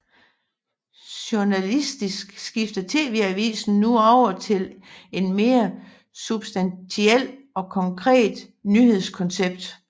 Journalistisk skifter TV Avisen nu over til en mere substantiel og konkret nyhedskoncept